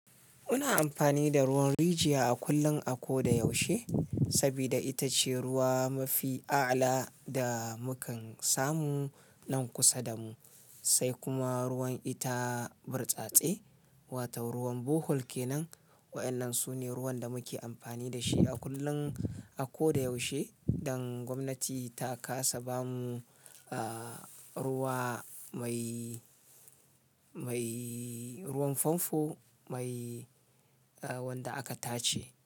Muna amfani da ruwan rijiya a kullun a ko da yaushe, saboda ita ce ruwa mafi a'ala da mukan samu nan kusa da mu, sai kuma ruwan ita burtsatse, wato ruwan Bohol ke nan. Wa'yannan su ne ruwan da muke amfani da shi a kullum, a ko da yaushe. Dan gwamnati ta kasa ba mu, eh, ruwa mai, mai ruwan famfo mai, eh, wanda aka tace.